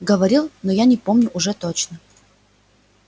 говорил но я не помню уже точно